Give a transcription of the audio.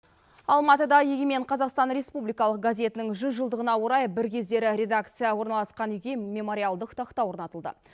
алматыда егемен қазақстан республикалық газетінің жүз жылдығына орай бір кездері редакция орналасқан үйге мемориалдық тақта орнатылды